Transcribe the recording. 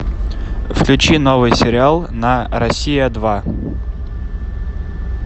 включи новый сериал на россия два